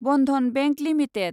Bandhan Bank limited